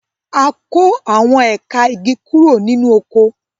A kó àwọn ẹ̀ka igi kúrò nínú oko.